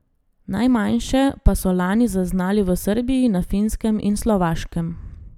Najmanjše pa so lani zaznali v Srbiji, na Finskem in Slovaškem.